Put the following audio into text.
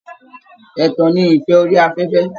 Ẹ̀tàn ni ìfẹ́ orí afẹ́fẹ́